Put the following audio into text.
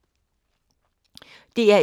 DR1